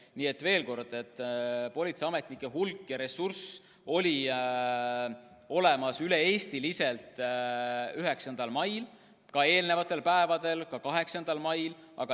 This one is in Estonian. Nii et veel kord, politseiametnike hulk ja ressurss oli olemas üle-eestiliselt 9. mail, samuti eelnenud päevadel, ka 8. mail.